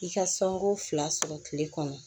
I ka sanko fila sɔrɔ tile kɔnɔ